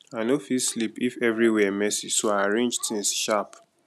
i no fit sleep if everywhere messy so i arrange things sharp